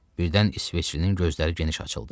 Birdən İsveçlinin gözləri geniş açıldı.